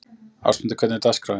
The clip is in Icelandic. Ástmundur, hvernig er dagskráin?